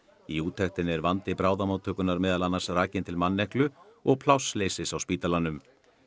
í úttektinni er vandi bráðamóttökunnar meðal annars rakin til manneklu og plássleysis á spítalanum